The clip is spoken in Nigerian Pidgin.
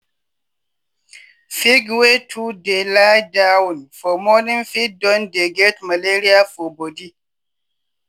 pig wey too dey lie down for morning fit don dey get malaria for body.